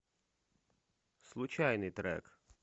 случайный трек